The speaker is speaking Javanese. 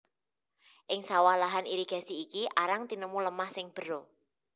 Ing sawah lahan irigasi iki arang tinemu lemah sing bera